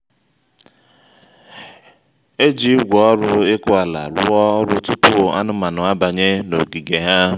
e ji igwe oru ịkụ ala rụọ ọrụ tupu anụmanụ abanye n’ogige ha.